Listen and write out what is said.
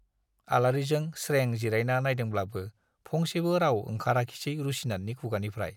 आलारिजों स्रें जिरायना नाइदोंब्लाबो फंसेबो राव ओंखाराखिसै रुसिनाथनि खुगानिफ्राइ।